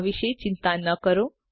આ વિશે ચિંતા ન કરો